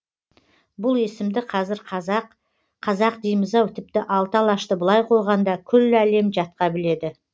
бұл есімді қазір қазақ қазақ дейміз ау тіпті алты алашты былай қойғанда күллі әлем жатқа біледі